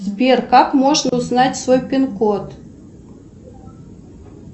сбер как можно узнать свой пин код